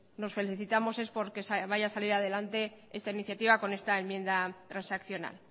nos felicitamos es porque vaya a salir adelante esta iniciativa con esta enmienda transaccional